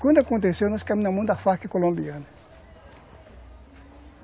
Quando aconteceu, nós caímos na mão da Farc colombiana.